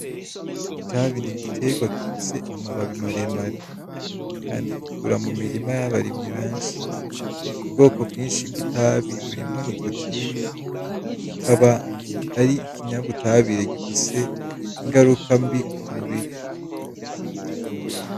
Itabi ni igiterwa gifise amababi mare mare kandi gikura mu mirima y'abarimyi benshi. Ubwoko bwinshi bw'itabi burimwo nikotine ikaba ari ikinyabutabire gifise ingaruka mbi ku mubiri.